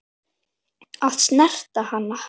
Að snerta hana.